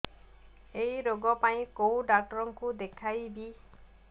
ଏଇ ରୋଗ ପାଇଁ କଉ ଡ଼ାକ୍ତର ଙ୍କୁ ଦେଖେଇବି